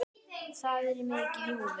Það er mikið í húfi.